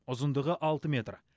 ұзындығы алты метр